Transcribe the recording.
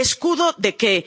escudo de